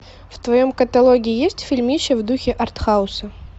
в твоем каталоге есть фильмище в духе артхауса